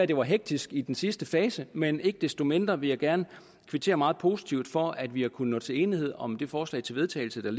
det var hektisk i den sidste fase men ikke desto mindre vil jeg gerne kvittere meget positivt for at vi har kunnet nå til enighed om det forslag til vedtagelse der